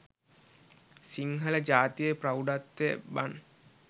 සිංහල ජාතියේ ප්‍රෞඩත්වය බන්.